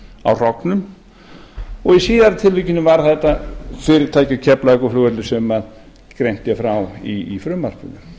á hrognum og í síðara tilvikinu var það þetta fyrirtæki á keflavíkurflugvelli sem greint er frá í frumvarpinu